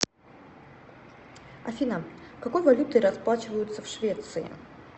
афина какой валютой расплачиваются в швеции